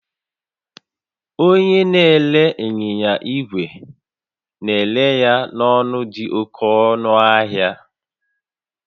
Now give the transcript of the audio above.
Onye na-ere ịnyịnya igwe na-ere ya n'ọnụ dị oke ọnụ ahịa